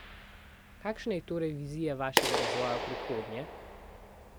Kakšna je torej vizija vašega razvoja v prihodnje?